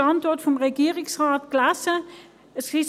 Die Antwort des Regierungsrates habe ich mit Spannung gelesen.